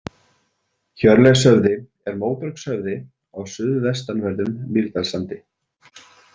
Hjörleifshöfði er móbergshöfði á suðvestanverðum Mýrdalssandi.